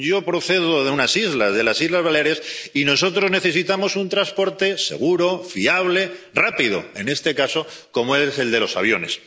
Yo procedo de unas islas, de las islas Baleares, y nosotros necesitamos un transporte seguro, fiable, rápido, en este caso, como es el de los aviones.